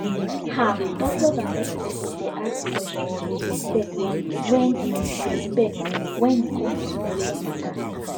ah doctors and nurses suppose dey ask questions with respect wen with respect wen e come to spiritual matter